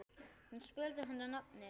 Hún spurði hann að nafni.